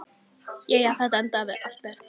Jæja, þetta endaði allt vel.